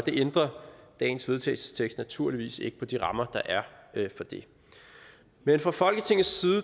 dagens vedtagelsestekst ændrer naturligvis ikke på de rammer der er for det men fra folketingets side